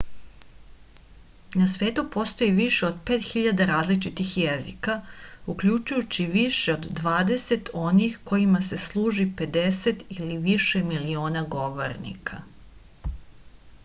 na svetu postoji više od 5000 različitih jezika uključujući više od dvadeset onih kojima se služi 50 ili više miliona govornika